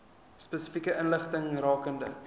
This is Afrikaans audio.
spesifieke inligting rakende